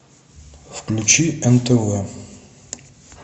включи нтв